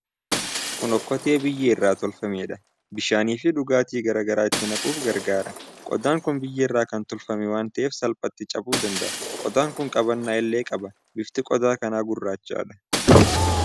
Kun okkotee biyyee irraa tolfameedha. Bishaanii fi dhugaati garaa garaa itti naquuf gargaara. Qodaan kun biyeerra kan tolfame waan ta'eef salphaatti cabuu danda'a. Qodaan kun qabannaa illee qaba. Bifti qodaa kanaa gurraachadha.